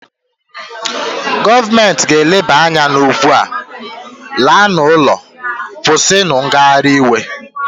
Gọọmenti ga-eleba anya n'okwu a, laa n'ụlọ, kwụsị ngagharị iwe!